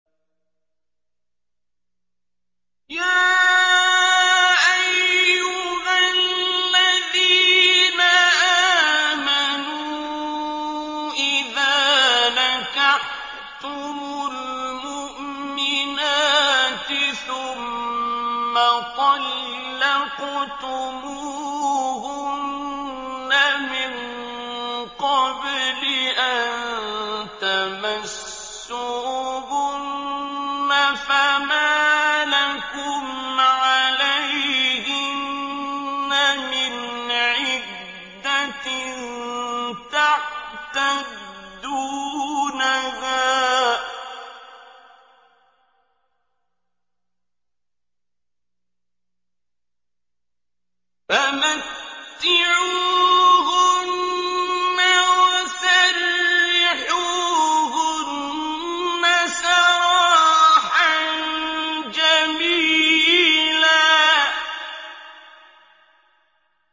يَا أَيُّهَا الَّذِينَ آمَنُوا إِذَا نَكَحْتُمُ الْمُؤْمِنَاتِ ثُمَّ طَلَّقْتُمُوهُنَّ مِن قَبْلِ أَن تَمَسُّوهُنَّ فَمَا لَكُمْ عَلَيْهِنَّ مِنْ عِدَّةٍ تَعْتَدُّونَهَا ۖ فَمَتِّعُوهُنَّ وَسَرِّحُوهُنَّ سَرَاحًا جَمِيلًا